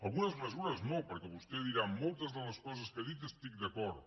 algunes mesures no perquè vostè dirà amb moltes de les coses que ha dit hi estic d’acord